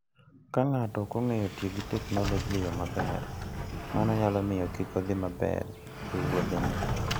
Ka ng'ato ok ong'eyo tiyo gi teknoloji e yo maber, mano nyalo miyo kik odhi maber e wuodhene.